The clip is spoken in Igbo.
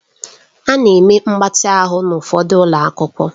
A na-eme mgbatị ahụ n'ụfọdụ ụlọ akwụkwọ